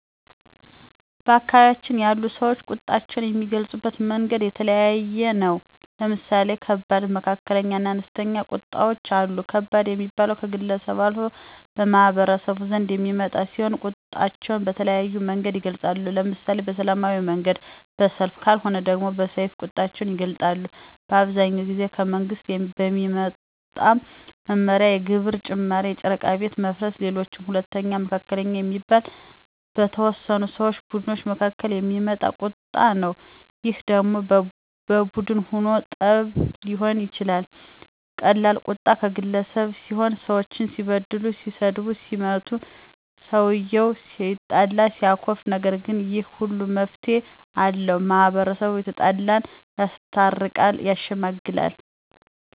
በአካባቢያችን ያሉ ሰወች ቁጣቸውን የሚገልፁበት መንገድ የተለያየ ነው። ለምሳሌ ከባድ፣ መካከለኛ እና አነስተኛ ቁጣወች አሉ። ከባድ ሚባለው ከግለሰብ አልፎ በማህበረሰቡ ዘንድ የሚመጣ ሲሆን ቁጣቸውን በተለያየ መንገድ ይገልፃሉ። ለምሳሌ በሰላማዊ መንገድ በሰልፍ ከልወነ ደሞ በሰይፍ ቁጣቸውን ይገልጣሉ። አብዛኛውን ጊዜ ከመንግስት በሚመጣ መመሪያ የግብር ጭማሪ የጨረቃ ቤት መፍረስ ሌሎችም። ሁለተኛው መካከለኛ የሚባለው በተወሰኑ ሰው ቡድኖች መካከል የሚመጣ ቀጣ ነው ይህ ደሞ በቡን ሁኖ ጠብ ሊሆን ይችላል ቀላል ቁጣ ቀገለሰብ ሲሆን ሰወች ሲበድሉት ሲሰድቡትና ሲመቱት ሰውየው ይቆጣል ያኮርፋል። ነገር ግን ይህ ሁሉ መፍትሄ አለው። ማህበረሰቡ የተጣላን ያስታርቃል። ያሸመግላል